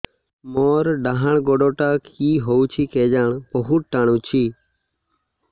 ମୋର୍ ଡାହାଣ୍ ଗୋଡ଼ଟା କି ହଉଚି କେଜାଣେ ବହୁତ୍ ଟାଣୁଛି